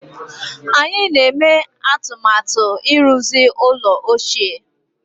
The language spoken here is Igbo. Anyị na-eme atụmatụ ịrụzi ụlọ ochie